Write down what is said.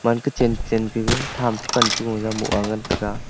man kachen kachen ka ga tham chi pan chi bo jaw boh angan taiga.